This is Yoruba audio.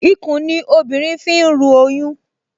Ikùn ni obìnrin fi ń ru oyún